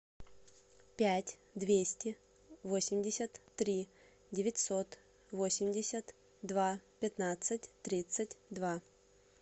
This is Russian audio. пять двести восемьдесят три девятьсот восемьдесят два пятнадцать тридцать два